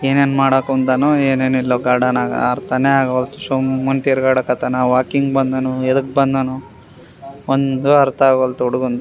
ಏನೇನ್ ಮಾಡಾಕ್ ಹೊಂದನೊ ಏನೇನೆಲ್ಲೊ ಗಾರ್ಡನಾಗ ಅರ್ತಾನೆ ಆಗೊಲ್ತು ಸುಮ್ಮುನ್ ತಿರ್ಗಾಡಕತ್ತಾನ ವಾಕಿಂಗ್ ಬಂದಾನೊ ಎದಕ್ ಬಂದಾನೊ ಒಂದು ಆರ್ತಾಗೋಲ್ತು ಹುಡುಗುನ್ದು.